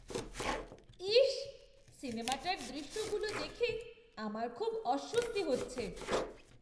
ইসস! সিনেমাটার দৃশ্যগুলো দেখে আমার খুব অস্বস্তি হচ্ছে।